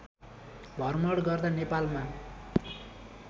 भ्रमण गर्दा नेपालमा